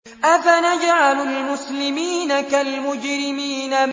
أَفَنَجْعَلُ الْمُسْلِمِينَ كَالْمُجْرِمِينَ